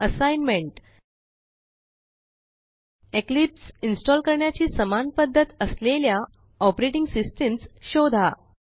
assignment Eclipse install करण्याची समान पध्दत असलेल्या ऑपरेटिंग सिस्टम्स शोधा